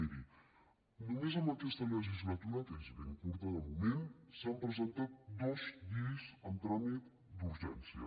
miri només en aquest legislatura que és ben curta de moment s’han presentat dues lleis en tràmit d’urgència